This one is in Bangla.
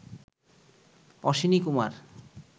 অশ্বিনীকুমার